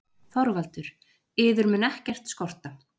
ÞORVALDUR: Yður mun ekkert skorta.